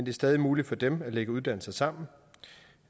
er stadig muligt for dem at lægge uddannelser sammen